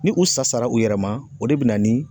Ni u sa sara u yɛrɛ ma o de bɛ na ni